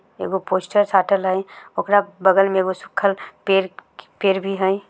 एगो पोस्टर साटल हई ओकरा बगल में एगो सुखल पेड़-पेड़ भी हई।